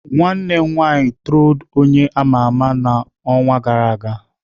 Nwanne m nwanyị trolled onye ama ama n'ọnwa gara aga.